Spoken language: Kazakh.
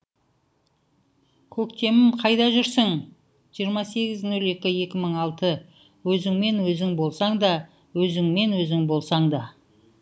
көктемім қайда жүрсің жиырма сегіз нөл екі екі мың алты өзінмен өзің болсаң да